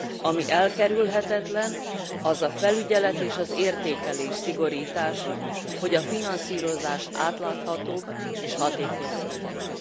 Ami elkerülhetetlen, az a felügyelet és az értékelés szigorítása, hogy a finanszírozás átláthatóbb és hatékonyabb legyen.